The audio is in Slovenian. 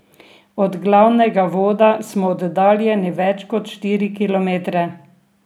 Od glavnega voda smo oddaljeni več kot štiri kilometre.